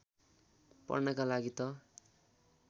पढ्नका लागि त